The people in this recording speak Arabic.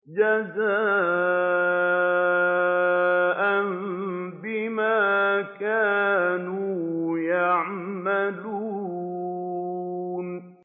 جَزَاءً بِمَا كَانُوا يَعْمَلُونَ